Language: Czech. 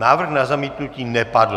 Návrh na zamítnutí nepadl.